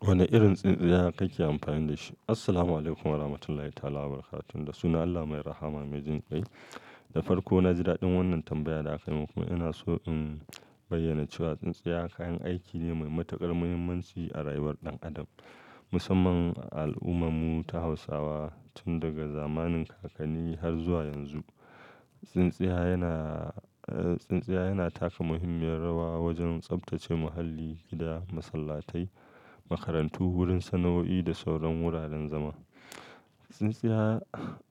Woni irin tsintsiya kake amfani da shi? Assalamualaikum warahmatullahi ta'ala wabarakatuh. Da sunan Allah mai rahama mai jin kai. Da farko, na ji daɗin wannan tambayar da aka yi min. Kuma ina so in bayyana cewa tsintsiya kayan aiki ne mai matuƙar muhimmanci a rayuwar ɗan adam, musamman a al'ummarmu ta Hausawa tun daga zamanin kakanni har zuwa yanzu. Tsintsiya yana, tsintsiya yana taka muhimmiyar rawa wojen tsaftace muhalli, gida, masallatai, makarantu, wurin sana'o'i da sauran wuraren zama. Tsintsiya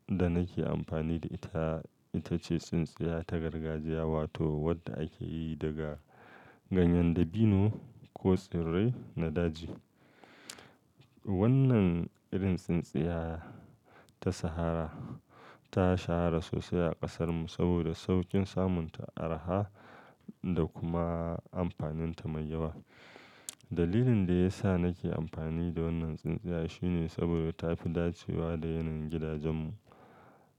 da nake ampani da ita, ita ce tsintsiya ta gargajiya wato wadda ake yi daga ganyen dabino ko tsirrai na daji. Wannan irin tsintsiya ta sahara ta shahara sosai a ƙasarmu saboda saukin samun ta, arha da kuma amfaninta mai yawa. Dalilin da ya sa nake amfani da wannan tsintsiya shine saboda ta fi dacewa da yanayin gidajen mu.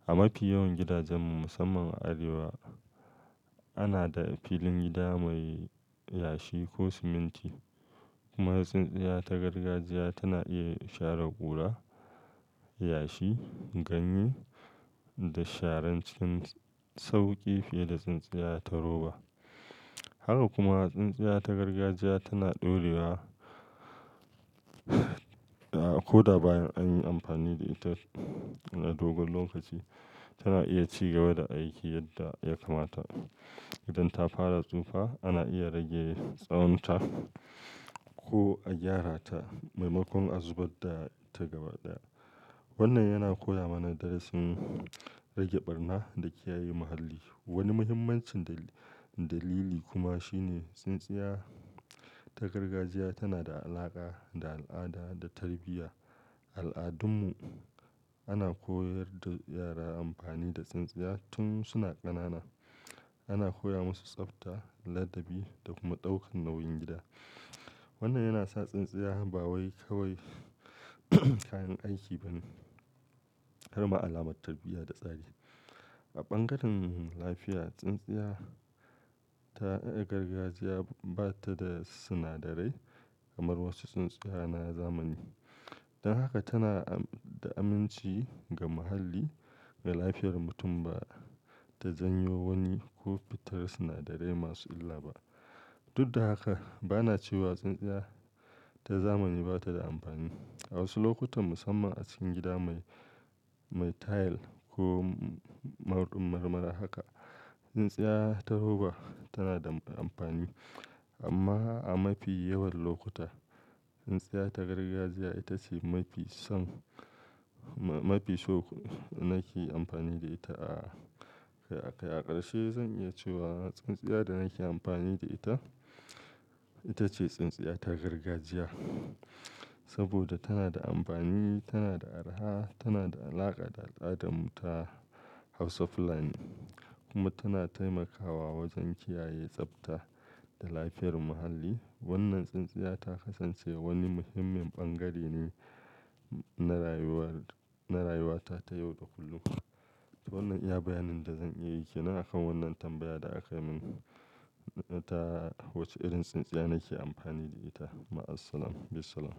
A mafi yawan gidajen mu, musamman a Arewa, ana da filin gida mai yashi ko siminti. Kuma tsintsiya ta gargajiya tana iya share ƙura, yashi, ganye da sharan cikin sauƙi fiye da tsintsiya ta roba. Haka kuma tsintsiya ta gargajiya tana ɗorewa. Ko da bayan an yi amfani da ita na dogon lokaci, tana iya ci gaba da aiki yadda ya kamata. Idan ta fara tsufa, ana iya rage tsawon ta ko a gyara ta maimakon a zubar da ta gabaɗaya. Wannan yana koya mana darasin rage ɓarna da kiyaye muhalli. Woni muhimmancin dali-dalili kuma shine tsintsiya ta gargajiya tana da alaƙa da al'ada da tarbiyya. Al'adunmu, ana koyar da yara amfani da tsintsiya tun suna ƙanana. Ana koya masu tsafta, ladabi da kuma ɗaukan nauyin gida. Wannan yana sa tsintsiya ba wai kawai kayan aiki bane harma alamar tarbiya da tsari. A ɓangaren lafiya, tsintsiya ta, eh, gargajiya ba ta da tsinadarai kamar wosu tsintsiya na zamani. Don haka tana da aminci ga muhalli, ga lafiyar mutum ba ta janyo woni ko fitar sinadarai masu illa ba. Duk da haka, ba na cewa tsintsiya ta zamani ba ta da amfani. A wosu lokutan, musamman a cikin gida mai, mai tayil ko ma mar-mar haka, tsintsiya ta roba tana da amfani. Amma a mafi yawan lokuta, tsintsiya ta gargajiya ita ce mafi son, mafi so nake amfani da ita a, a ƙarshe zan iya cewa tsintsiya da nake amfani da ita, ita ce tsintsiya ta gargajiya. Saboda tana da ampani, tana da arha, tana da alaƙa da al'adunmu ta Hausa fulani kuma tana taimakawa wojen kiyaye tsafta da lafiyar muhalli. Wannan tsintsiya ta kasance woni muhimmin ɓangare ne na rayuwar, na rayuwata ta yau da kullum. To wannan iya bayanin da zan iya yi ke nan a kan wannan tambaya da aka yi min ta wac-ce irin tsintsiya nake ampani da ita. Ma assalam. Bisalam.